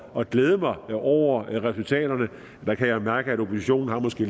at glæde mig over resultaterne og jeg kan da mærke at oppositionen måske